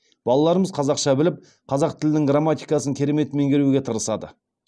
балаларымыз қазақша біліп қазақ тілінің грамматикасын керемет меңгеруге тырысады